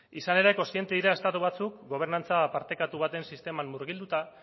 izan ere kontziente dira estatu batzuk gobernantza partekatu baten sisteman murgilduta